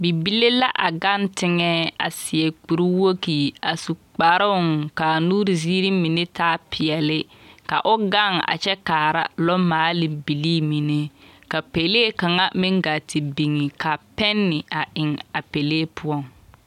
Bibile la a gaŋe teŋԑ, a seԑ kuri wogi a su kparoŋ ka a nuuri ziiri mine taa peԑle. Ka o gaŋe a kyԑ kaara lͻmaale bilii mine. Ka pelee kaŋa meŋ gaa te biŋi ka pԑne a eŋԑ a pelee poͻŋ.